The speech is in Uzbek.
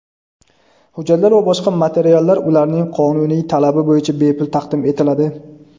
hujjatlar va boshqa materiallar ularning qonuniy talabi bo‘yicha bepul taqdim etiladi.